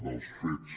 dels fets